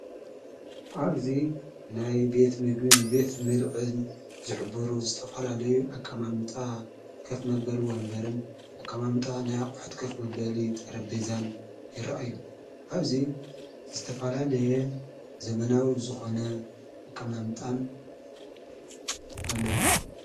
ኣብዙይ ናይ ቤት ምግን ቤት ምልዕን ዙሕብሩ ዝተፈላለዩ ኣቃማምጣ ከፍ መበልዎ እምበርን ኣቃማምጣ ናይ ኣቝሕጥ ቀፍ መበሊ ጠረቤዛን ይረእ እዩ ኣብዙይ ዝተፋላለየ ዘመናዊ ዝኾነ ኣቃማምጣን ኣለዉን።